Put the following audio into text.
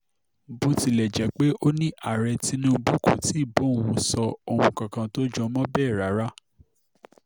bó tilẹ̀ jẹ́ pé ó ní ààrẹ tinubu kò ti bá òun sọ ohun kankan tó jọ mọ́ bẹ́ẹ̀ rárá